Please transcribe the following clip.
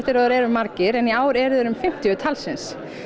og þeir eru margir en í ár eru þeir um fimmtíu talsins